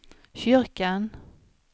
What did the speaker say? kyrkan